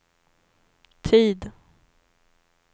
tid